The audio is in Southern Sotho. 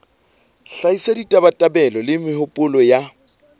hlahisa ditabatabelo le mehopolo ya